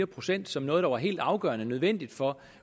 procent som noget der var helt afgørende nødvendigt for